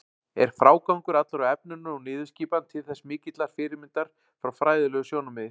Er frágangur allur á efninu og niðurskipan þess til mikillar fyrirmyndar frá fræðilegu sjónarmiði.